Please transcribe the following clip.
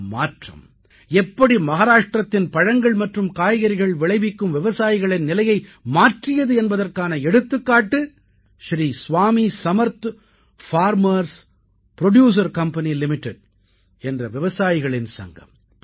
இந்த மாற்றம் எப்படி மஹாராஷ்டிரத்தின் பழங்கள் மற்றும் காய்கறிகள் விளைவிக்கும் விவசாயிகளின் நிலையை மாற்றியது என்பதற்கான எடுத்துக்காட்டு ஸ்ரீ சுவாமி சமர்த் விவசாயி உற்பத்தியாளர் நிறுவனம் என்ற விவசாயிகள் சங்கம்